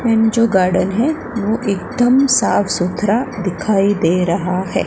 जो गार्डन है वो एकदम साफ सुथरा दिखाई दे रहा है।